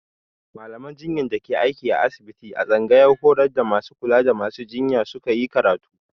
Mallaman jinya da ke aiki a asibiti a tsangayar horar da masu kula da masu jinya su ka yi karatu.